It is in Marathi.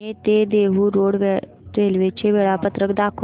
पुणे ते देहु रोड रेल्वे चे वेळापत्रक दाखव